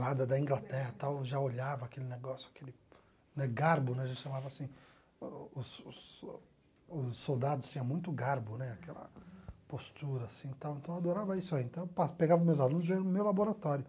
lá da da Inglaterra, tal, já olhava aquele negócio, aquele né garbo né, a gente chamava assim, os os os soldados tinham muito garbo né, aquela postura, assim e tal então eu adorava isso, então eu pa pegava meus alunos e ia no meu laboratório.